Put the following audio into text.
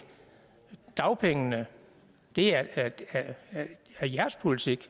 dagpengene det er jeres politik